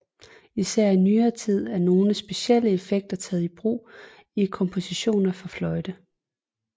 Især i nyere tid er nogle specielle effekter taget i brug i kompositioner for fløjte